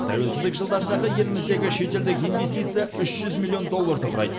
тәуелсіздік жылдарындағы еліміздегі шетелдік инвестиция үш жүз миллион долларды құрайды